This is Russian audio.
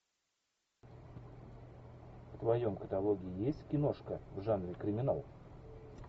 в твоем каталоге есть киношка в жанре криминал